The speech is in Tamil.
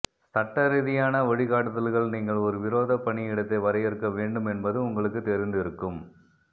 சட்டரீதியான வழிகாட்டுதல்கள் நீங்கள் ஒரு விரோதப் பணியிடத்தை வரையறுக்க வேண்டும் என்பது உங்களுக்குத் தெரிந்திருக்கும்